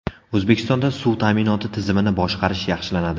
O‘zbekistonda suv ta’minoti tizimini boshqarish yaxshilanadi.